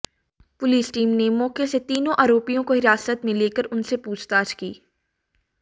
police team ने मौके से तीनों आरोपियों को हिरासत में लेकर उनसे पूछताछ की